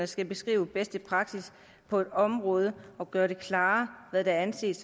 skal beskrive bedste praksis på et område og gøre det klarere hvad der anses